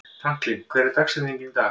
Franklin, hver er dagsetningin í dag?